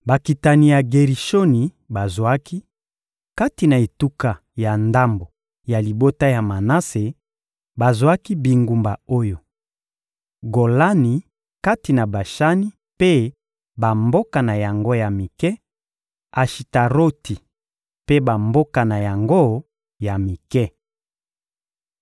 Bakitani ya Gerishoni bazwaki: Kati na etuka ya ndambo ya libota ya Manase, bazwaki bingumba oyo: Golani kati na Bashani mpe bamboka na yango ya mike, Ashitaroti mpe bamboka na yango ya mike.